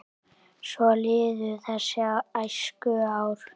Svo liðu þessi æskuár.